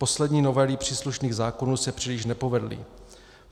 Poslední novely příslušných zákonů se příliš nepovedly.